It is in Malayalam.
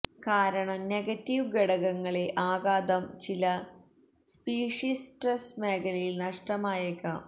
കാരണം നെഗറ്റീവ് ഘടകങ്ങളെ ആഘാതം ചില സ്പീഷീസ് ട്വെര് മേഖലയിൽ നഷ്ടമായേക്കാം